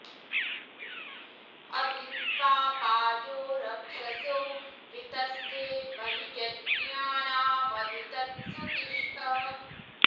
अ॒भि त्वा॒ पाजो॑ र॒क्षसो॒ वि त॑स्थे॒ महि॑ जज्ञा॒नम॒भि तत्सु ति॑ष्ठ